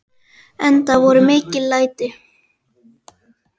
Enda voru mikil læti.